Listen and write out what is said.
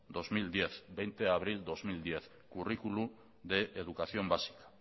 bi mila hamar hogei de abril bi mila hamar currículum de educación básica